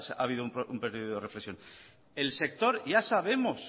habido un periodo de reflexión el sector ya sabemos